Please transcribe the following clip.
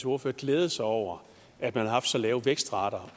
ordfører glædede sig over at man har haft så lave vækstrater